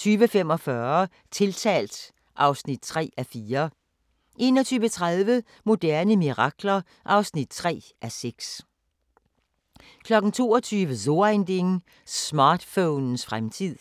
20:45: Tiltalt (3:4) 21:30: Moderne mirakler (3:6) 22:00: So Ein Ding: Smartphonens fremtid